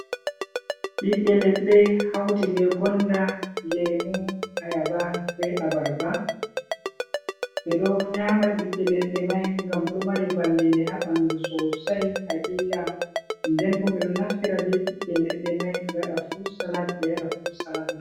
ɓiɓɓe leɗɗe hauti be gonda, lemu, ayaba be abarba. Ɓe ɗo nyama ɓiɓɓe leɗɗe mai ngam ɗo mari vallinde ha ɓandu sosai hakika nden bo ɓeɗo naftira be ɓiɓɓe leɗɗe mai ɓe waɗa frut salat, ɓe yara frut salat mai.